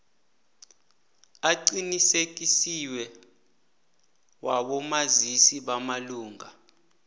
aqinisekisiweko wabomazisi bamalunga